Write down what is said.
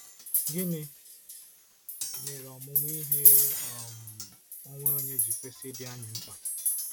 Gịnị mere ọmụmụ ihe um onwe onye ji kwesị ịdị anyị mkpa?